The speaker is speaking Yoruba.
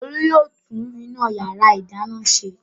Olú yóò tún iná ìyàrá-ìdáná ṣe.